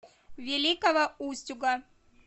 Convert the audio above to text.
великого устюга